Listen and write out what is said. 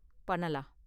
பண்ணலாம்.